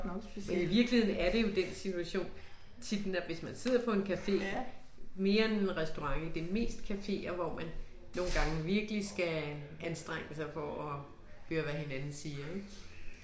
Og i virkeligheden er det jo den situation tit, hvis man sidder på en café, mere end en restaurant ik, det er mest caféer hvor man nogen gange virkelig skal anstrenge sig for og høre hvad hinanden siger ik